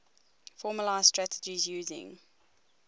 formalised strategies using